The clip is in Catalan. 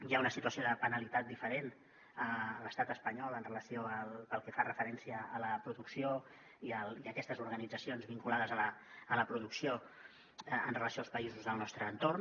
hi ha una situació de penalitat diferent a l’estat espanyol pel que fa referència a la producció i aquestes organitzacions vinculades a la producció en relació amb els països del nostre entorn